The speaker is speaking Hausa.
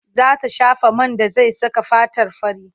Za ta shafa man da zai saka fatarta fari.